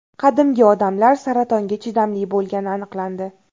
Qadimgi odamlar saratonga chidamli bo‘lgani aniqlandi.